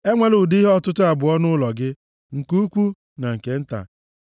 Enwela ụdị ihe ọtụtụ abụọ nʼụlọ gị, nke ukwu na nke nta.